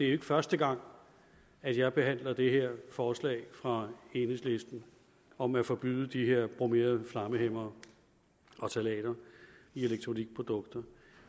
er første gang at jeg behandler det her forslag fra enhedslisten om at forbyde de her bromerede flammehæmmere og ftalater i elektronikprodukter